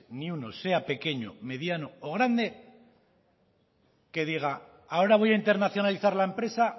ni uno sea pequeño mediano o grande que diga ahora voy a internacionalizar la empresa